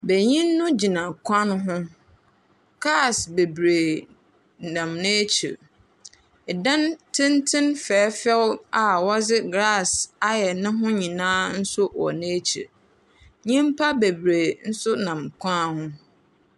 Banyin no gyina kwan no ho. Kaas bebree nam n'akyir. Ɛdan tenten fɛɛfɛfɛw a wɔdze glasse ayɛ neho nyinaa nso wɔ n'akyir. Nnipa bebree nso nam kwan ho.